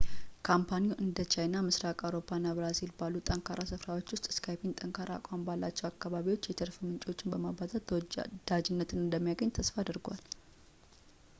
ካምፓኒው እንደ ቻይና ፣ ምስራቅ አውሮፓ እና ብራዚል ባሉ ጠንካራ ስፍራዎች ውስጥ skype ጠንካራ አቋም ባላቸው አካባቢዎች የትርፍ ምንጮቹን በማባዛት ተወዳጅነት እንደሚያገኝ ተስፋ አድርጓል